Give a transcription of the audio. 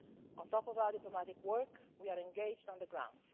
On top of our diplomatic work, we are engaged on the ground.